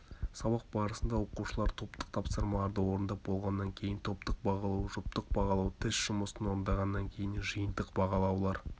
сабақ барысында оқушылар топтық тапсырмаларды орындап болғаннан кейін топтық бағалау жұптық бағалау тест жұмысын орындағаннан кейін жиынтық бағалаулар